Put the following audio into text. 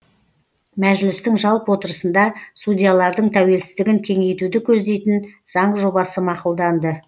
мәжілістің жалпы отырысында судьялардың тәуелсіздігін кеңейтуді көздейтін заң жобасы мақұлданды